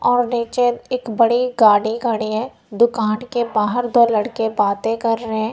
आव नीचे एक बड़ी गाड़ी खड़ी हैं दुकान के बाहर दो लड़के बाते कर रहें है।